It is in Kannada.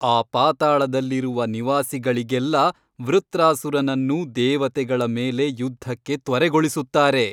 ಆ ಪಾತಾಳದಲ್ಲಿರುವ ನಿವಾಸಿಗಳಿಗೆಲ್ಲ ವೃತ್ರಾಸುರನನ್ನು ದೇವತೆಗಳ ಮೇಲೆ ಯುದ್ಧಕ್ಕೆ ತ್ವರೆಗೊಳಿಸುತ್ತಾರೆ.